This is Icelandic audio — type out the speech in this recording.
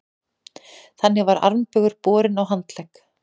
Þannig var armbaugur borinn á handlegg.